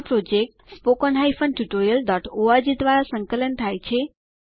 આ project httpspoken tutorialorg દ્વારા સંકલન થાય છે